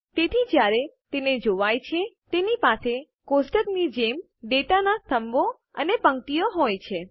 તેથી જયારે તેને જોવાય છે તેની પાસે ટેબલ કોષ્ટકની જેમ ડેટાના સ્તંભો અને પંક્તિઓ હોય છે